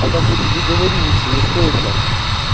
а так я тебе говорю лучше не стоит нах